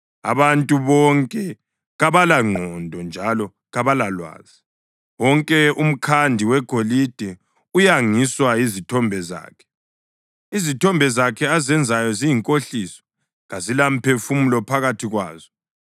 Abantu bonke kabalangqondo njalo kabalalwazi; wonke umkhandi wegolide uyangiswa yizithombe zakhe. Izithombe zakhe azenzayo ziyinkohliso; kazilamphefumulo phakathi kwazo.